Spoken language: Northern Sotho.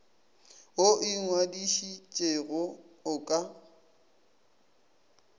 wo o ingwadišitšego o ka